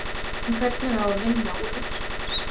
En hvernig á að vinna úr hugsun hans?